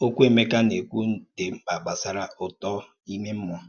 Ọ̀kwú Emeka na-èkwù dị́ mkpa gbàsàrà ùtọ̀ ìmè mmúọ̀